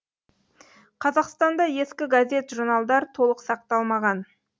қазақстанда ескі газет журналдар толық сақталмаған